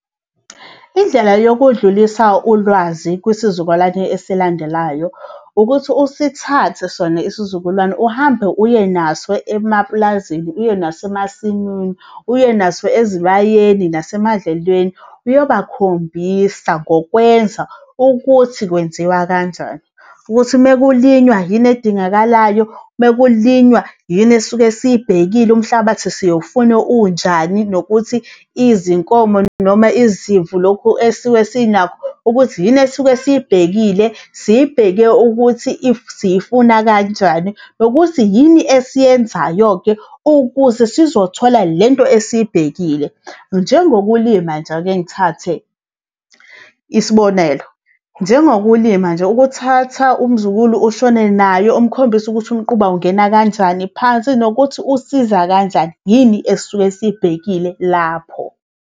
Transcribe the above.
Indlela yokudlulisa ulwazi kwisizukulwane esilandelayo ukuthi usithathe sona isizukulwane uhambe uye naso emaplazini uye naso emasimini, uye naso ezibayeni, nase madlelweni, uyobakhombisa ngokwenza ukuthi kwenziwa kanjani ukuthi mekulinywa yini edingakalayo. Mekulinywa yini esuke siyibhekile, umhlabathi siyowufuna unjani nokuthi izinkomo noma izimvu, lokhu esuke sinakho ukuthi yini esuke siyibhekile, siyibheke ukuthi siyifuna kanjani nokuthi yini esiyenzayo-ke ukuze sizothola lento esiyibhekile. Njengokulima nje, akengithathe isibonelo, njengokulima nje, ukuthatha umzukulu ushone naye, umkhombise ukuthi umquba ungena kanjani phansi nokuthi usiza kanjani, yini esisuke siyibhekile lapho.